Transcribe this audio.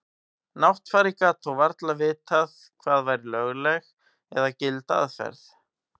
Náttfari gat þó varla vitað hvað væri lögleg eða gild aðferð.